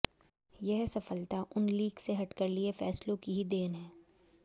यह सफलता उन लीक से हटकर लिए फैसलों की ही देन है